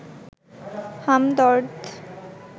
Hamdard